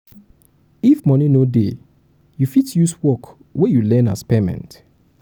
if money no dey you fit use work wey you learn as payment